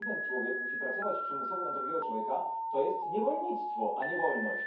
Jeśli jeden człowiek musi pracować przymusowo na drugiego człowieka, to jest niewolnictwo, a nie wolność.